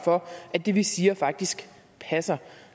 for at det vi siger faktisk passer